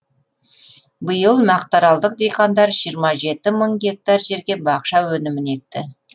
биыл мақтаралдық диқандар жиырма жеті мың гектар жерге бақша өнімін екті